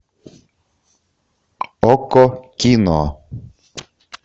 окко кино